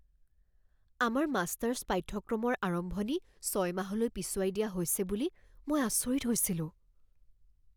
আমাৰ মাষ্টাৰ্ছ পাঠ্যক্ৰমৰ আৰম্ভণি ছয় মাহলৈ পিছুৱাই দিয়া হৈছে বুলি মই আচৰিত হৈছিলোঁ।